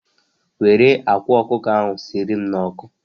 Were akwa ọkụkọ ahụ sierem n'ọkụ